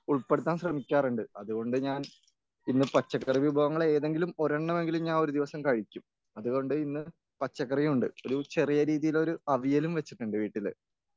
ഉൾപ്പെടുത്താൻ ശ്രമിക്കാറുണ്ട് അതുകൊണ്ട് ഞാൻ ഇന്ന് പച്ചക്കറി വിഭവങ്ങളേതെങ്കിലും ഒരെണ്ണമെങ്കിലും ഞാൻ ഒരു ദിവസം കഴിക്കും. അതുകൊണ്ട് ഇന്ന് പച്ചക്കറിയുമുണ്ട് ഒരു ചെറിയ രീതിയിലൊരു അവിയലും വച്ചിട്ടുണ്ട് വീട്ടില്